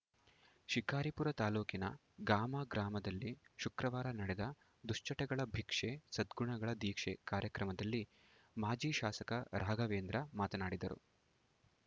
ಶಿಕಾರಿಪುರ ತಾಲೂಕಿನ ಗಾಮ ಗ್ರಾಮದಲ್ಲಿ ಶುಕ್ರವಾರ ನಡೆದ ದುಶ್ಚಟಗಳ ಬಿಕ್ಷೆ ಸದ್ಗುಣಗಳ ದೀಕ್ಷೆ ಕಾರ್ಯಕ್ರಮದಲ್ಲಿ ಮಾಜಿ ಶಾಸಕ ರಾಘವೇಂದ್ರ ಮಾತನಾಡಿದರು